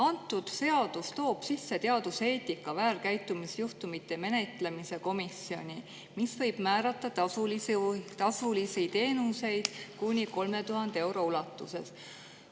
Antud seadus toob sisse teaduseetika väärkäitumisjuhtumite menetlemise komisjoni, mis võib määrata tasulisi teenuseid kuni 3000 euro ulatuses.